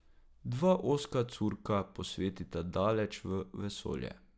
Dva ozka curka posvetita daleč v vesolje.